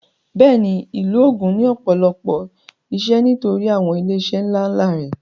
Bẹ́ẹ̀ni ìlú Ògùn ní ọ̀pọ̀lọpọ̀ ìṣe nítorí àwọn ilé iṣẹ́ ńlá ńlá rẹ̀